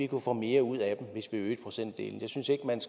kunne få mere ud af dem hvis vi øgede procentdelen